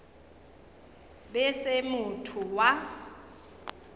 be e se motho wa